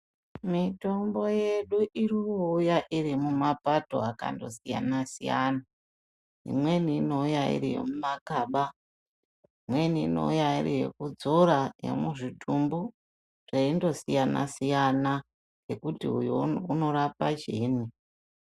Mitombo yedu ino uya iri mu mapato akando siyana siyana imweni inouya iri yemuma kaba mu makaba imweni inouya iri yekudzora ye muzvitumbu zveindo siyana siyana ngekuti uyo uno rapa chiinyi.